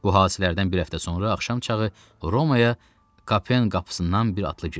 Bu hadisələrdən bir həftə sonra axşam çağı Romaya Kapen qapısından bir atlı girdi.